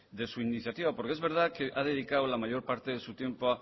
de su iniciativa porque es verdad que ha dedicado la mayor parte de su tiempo